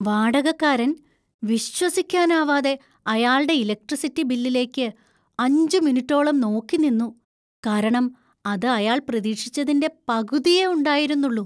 വാടകക്കാരൻ വിശ്വസിക്കാനാവാതെ അയാള്‍ടെ ഇലക്ട്രിസിറ്റി ബില്ലിലേയ്ക്ക് അഞ്ച് മിനിറ്റോളം നോക്കി നിന്നു, കാരണം അത് അയാള്‍ പ്രതീക്ഷിച്ചേതിന്‍റെ പകുതിയേ ഉണ്ടായിരുന്നുള്ളൂ.